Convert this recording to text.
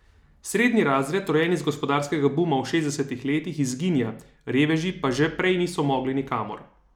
Srednji razred, rojen iz gospodarskega buma v šestdesetih letih, izginja, reveži pa že prej niso mogli nikamor.